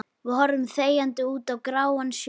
Við horfum þegjandi út á gráan sjó.